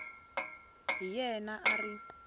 hi yena a a ri